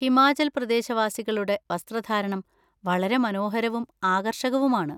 ഹിമാചൽ പ്രദേശവാസികളുടെ വസ്ത്രധാരണം വളരെ മനോഹരവും ആകർഷകവുമാണ്.